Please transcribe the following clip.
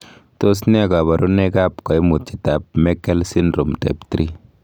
Tos nee koborunoikab koimutietab Meckel syndrome type 3?